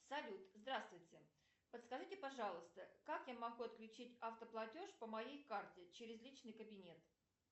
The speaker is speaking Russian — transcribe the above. салют здравствуйте подскажите пожалуйста как я могу отключить автоплатеж по моей карте через личный кабинет